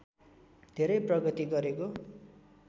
धेरै प्रगति गरेको